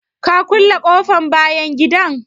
Ka kulle ƙofan bayan gidan?